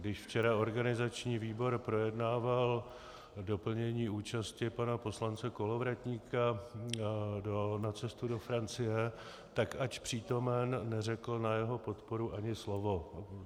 Když včera organizační výbor projednával doplnění účasti pana poslance Kolovratníka na cestu do Francie, tak ač přítomen, neřekl na jeho podporu ani slovo.